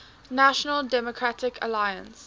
national democratic alliance